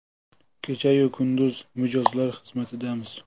Kecha-yu kunduz mijozlar xizmatidamiz!.